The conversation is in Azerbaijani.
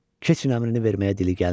"Keçin" əmrini verməyə dili gəlmirdi.